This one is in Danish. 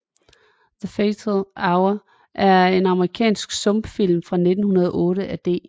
The Fatal Hour er en amerikansk stumfilm fra 1908 af D